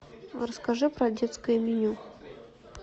расскажи про детское меню